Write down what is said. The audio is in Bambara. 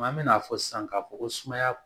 An bɛna fɔ sisan k'a fɔ ko sumaya